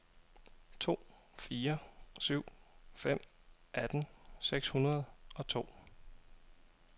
to fire syv fem atten seks hundrede og to